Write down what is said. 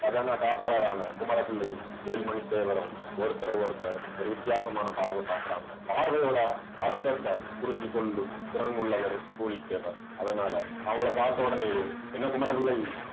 கஜானா காப்பாளரான, குமர பிள்ளையும் வேல்மணி தேவரும் ஒருத்தரை ஒருத்தர் ஒரு வித்தியாசமான பார்வை பாக்குறாங்க. பார்வையோட அர்த்தத்தை புரிஞ்சு கொள்ளும் திறன் உள்ளவர் பூலித்தேவர் அதனால அவங்களை பார்த்த ஒடனேயே என்ன குமர பிள்ளை